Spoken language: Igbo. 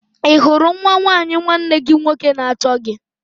Ị hụrụ nwa nwanyị nwanne gị nwoke na-achọ gị?